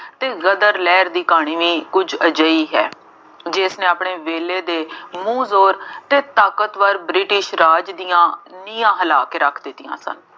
ਅਤੇ ਗਦਰ ਲਹਿਰ ਦੀ ਕਹਾਣੀ ਵੀ ਕੁੱਝ ਅਜਿਹੀ ਹੈ। ਜਿਸਨੇ ਆਪਣੇ ਵੇਲੇ ਦੇ ਮੂੰਹ ਜ਼ੋਰ ਅਤੇ ਤਾਕਤਵਰ ਬ੍ਰਿਟਿਸ਼ ਰਾਜ ਦੀਆਂ ਨੀਂਹਾਂ ਹਿਲਾ ਕੇ ਰੱਖ ਦਿੱਤੀਆਂ ਸਨ।